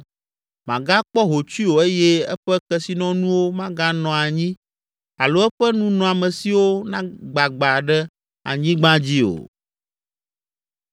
Magakpɔ hotsui o eye eƒe kesinɔnuwo maganɔ anyi alo eƒe nunɔamesiwo nagbagba ɖe anyigba dzi o.